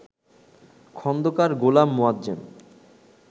Khandakar Golam Moazzem